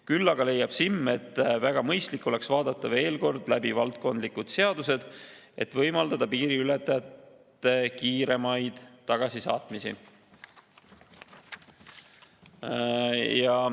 Küll aga leiab SiM, et väga mõistlik oleks vaadata veel kord läbi valdkondlikud seadused, et võimaldada piiriületajate kiiremat tagasisaatmist.